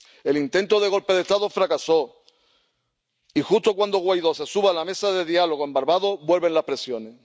El intento de golpe de Estado fracasó y, justo cuando Guaidó se sube a la mesa de diálogo en Barbados, vuelven las presiones.